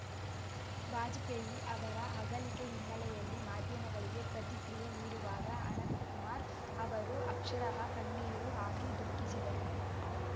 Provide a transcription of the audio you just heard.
ವಾಜಪೇಯಿ ಅವರ ಅಗಲಿಕೆ ಹಿನ್ನೆಲೆಯಲ್ಲಿ ಮಾಧ್ಯಮಗಳಿಗೆ ಪ್ರತಿಕ್ರಿಯೆ ನೀಡುವಾಗ ಅನಂತಕುಮಾರ್‌ ಅವರು ಅಕ್ಷರಶಃ ಕಣ್ಣೀರು ಹಾಕಿ ದುಃಖಿಸಿದ್ದರು